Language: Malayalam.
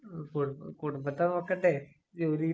കുടും കുടുംബത്തെ നോക്കണ്ടേ? ജോലി കിട്ടി